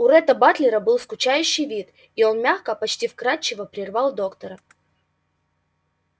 у ретта батлера был скучающий вид он мягко почти вкрадчиво прервал доктора